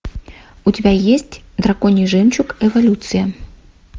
у тебя есть драконий жемчуг эволюция